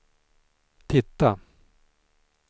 titta